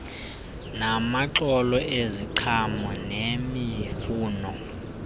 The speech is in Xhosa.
namaxolo eziqhamo nemifuno